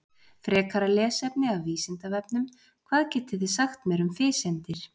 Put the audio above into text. Frekara lesefni af Vísindavefnum: Hvað getið þið sagt mér um fiseindir?